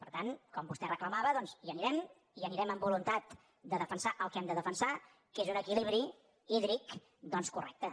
per tant com vostè reclamava doncs hi anirem hi anirem amb voluntat de defensar el que hem de defensar que és un equilibri hídric correcte